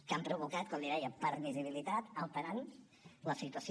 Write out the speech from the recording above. que han provocat com li deia permissivitat alterant la situació